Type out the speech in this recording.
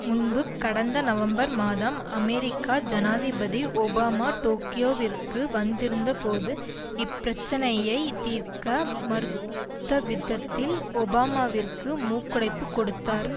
முன்பு கடந்த நவம்பர் மாதம் அமெரிக்க ஜனாதிபதி ஒபாமா டோக்கியோவிற்கு வந்திருந்தபோது இப்பிரச்சினையை தீர்க்க மறுத்தவிதத்தில் ஒபாமாவிற்கு மூக்குடைப்பு கொடுத்தார்